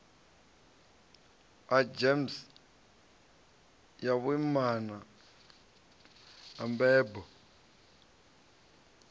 gems ya vhuimana na mbebo